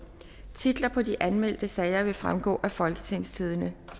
titlerne på de anmeldte sager vil fremgå af folketingstidende